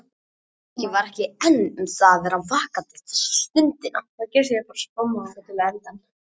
Nikki var ekki einn um það að vera vakandi þessa stundina.